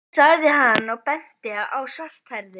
sagði hann og benti á þá svarthærðu.